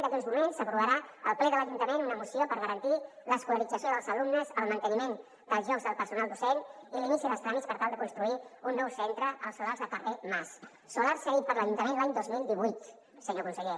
d’aquí a uns moments s’aprovarà al ple de l’ajuntament una moció per garantir l’escolarització dels alumnes el manteniment dels llocs del personal docent i l’inici dels tràmits per tal de construir un nou centre als solars del carrer mas solar cedit per l’ajuntament l’any dos mil divuit senyor conseller